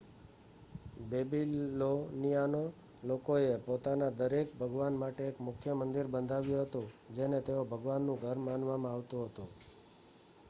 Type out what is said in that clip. બેબીલોનિયોનાં લોકોએ પોતાના દરેક ભગવાન માટે એક મુખ્ય મંદિર બંધાવ્યું હતું જેને તેઓ ભગવાનનું ઘર માનવમાં આવતું હતું